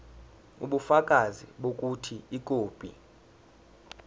ubufakazi bokuthi ikhophi